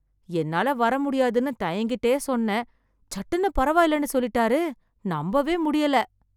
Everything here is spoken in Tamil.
என்னால வர முடியாதுன்னு தயங்கிட்டே சொன்னேன், சட்டுன்னு பரவாயில்லைன்னு சொல்லிட்டார். நம்பவே முடியல.